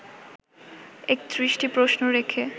৩১টি প্রশ্ন রেখে